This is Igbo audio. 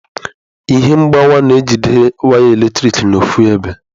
Ihe mgbawa na-ejide waya eletrik n'ọfu ebe.